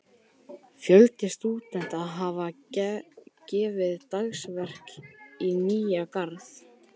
Fjöldi stúdenta hefur gefið dagsverk í Nýja-Garð.